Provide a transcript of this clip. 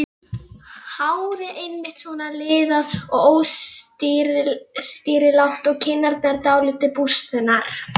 Hárið einmitt svona liðað og óstýrilátt og kinnarnar dálítið bústnar.